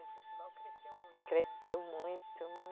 O festival cresceu muito, né? Cresceu muito, muito